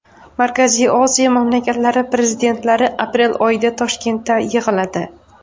Markaziy Osiyo mamlakatlari prezidentlari aprel oyida Toshkentda yig‘iladi.